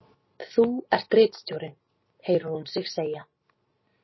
Þú ert ritstjórinn, heyrir hún sig segja.